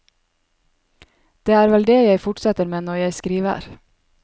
Det er vel det jeg fortsetter med når jeg skriver.